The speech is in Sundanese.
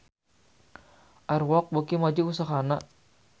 Air Walk beuki maju usahana